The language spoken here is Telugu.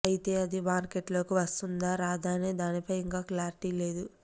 అయితే ఇది మార్కెట్లోకి వస్తుందా రాదా అనే దానిపై ఇంకా క్లారిటీ లేదు